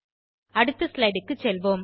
அடுத்த slideக்கு செல்வோம்